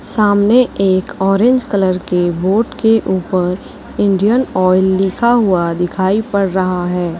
सामने एक orange colour के बोर्ड के ऊपर इंडियन ऑयल लिखा हुआ दिखाई पड़ रहा है।